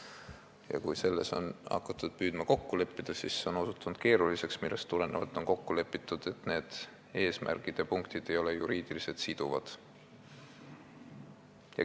Ja kui hakati püüdma selles kokku leppida, siis see osutus keeruliseks, millest tulenevalt on kokku lepitud, et need eesmärgid ja punktid ei ole juriidiliselt siduvad.